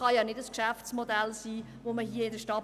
Ich glaube, dieses Geschäftsmodell ist nicht adäquat.